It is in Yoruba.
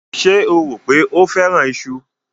Ṣé o rò pé ó fẹ́ràn iṣu?